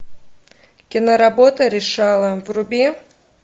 киноработа решала вруби